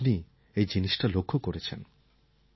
কারণ আপনি এই জিনিসটা লক্ষ্য করেছেন